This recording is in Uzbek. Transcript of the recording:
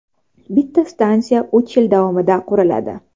Bitta stansiya uch yil davomida quriladi.